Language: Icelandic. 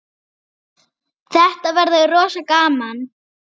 Þetta verður rosa gaman.